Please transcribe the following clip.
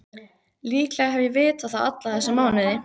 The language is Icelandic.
Líklega hef ég vitað það alla þessa mánuði.